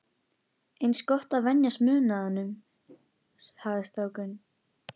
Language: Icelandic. Eins gott að venjast munaðinum, hafði strákur